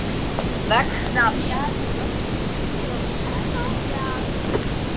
Pétur, læstu útidyrunum.